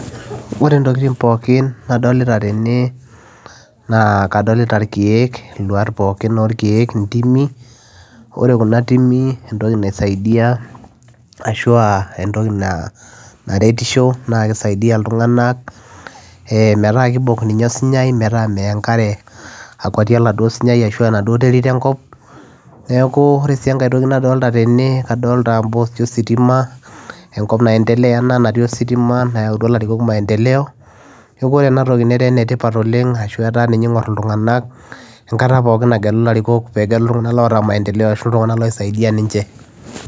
Ore intokitin pookin nadolita tene naa adolitaa irkiek ntimi Ore ntimi naa kisaidia metaa kibok osinyai meyaa enkare oree enkae toki nadolita tene naa adolitaa ositima enkaop enaa nayendelea netaa ena toki ene tipat oleng enkataa pookin nigirae aayauu maendeleo